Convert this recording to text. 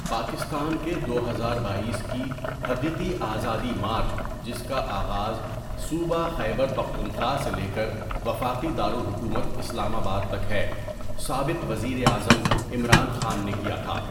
پاکستان کےدو ہزار باٮٔیس ء کی حقیقی آزادی مارچ جس کا آغاز صوبہ خیبر پختونخوا سے لے کر وفاقی دارالحکومت اسلام آباد تک ہے، سابق وزیرِ اعظم عمران خان نے کیا تھا.